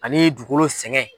Ani dukolo sɛgɛn.